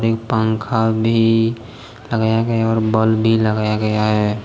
पंखा भी लगाया गया है और बल्ब भी लगाया गया है